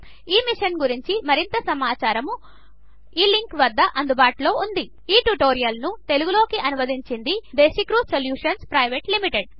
ఈ మిషన్ గురించి మరింత సమాచారము వద్ద అందుబాటులో ఉంది ఈ ట్యుటోరియల్ ను తెలుగు లోకి అనువదించింది దేశీక్ర్యూ సొల్యూషన్స్ ప్రైవేట్ లిమిటెడ్